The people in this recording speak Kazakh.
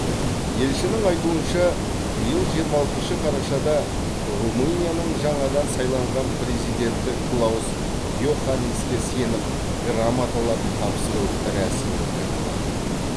елшінің айтуынша биыл жиырма алтыншы қарашада румынияның жаңадан сайланған президенті клаус йоханниске сенім грамоталарын тапсыру рәсімі өткен болатын